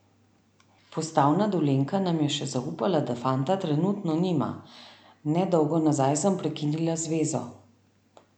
Postavna Dolenjka nam je še zaupala, da fanta trenutno nima: 'Ne dolgo nazaj sem prekinila zvezo.